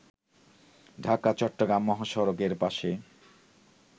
ঢাকা-চট্টগ্রাম মহাসড়কের পাশে